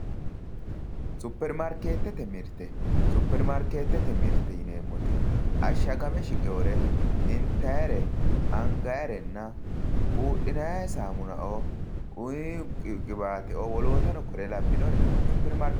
supperimaarkeettete mirte yineemmoti ashshagame shiqewoore intayyire anagayiire buudhinayi saamunao qiwaateo woloottano kuriu labbinore supperimaarkeetttete mirte yinannai